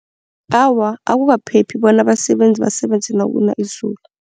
Awa, akukaphephi bona abasebenzi basebenze nakuna izulu.